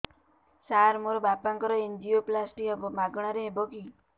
ସାର ମୋର ବାପାଙ୍କର ଏନଜିଓପ୍ଳାସଟି ହେବ ମାଗଣା ରେ ହେବ କି